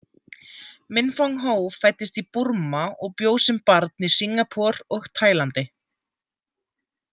Minfong Ho fæddist í Burma og bjó sem barn í Singapore og Taílandi.